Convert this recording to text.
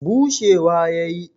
bushewa ya yi